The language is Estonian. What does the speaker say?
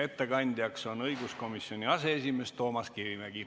Ettekandja on õiguskomisjoni aseesimees Toomas Kivimägi.